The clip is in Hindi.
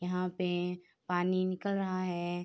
यहाँ पे एए पानी निकल रहा है।